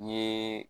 N ye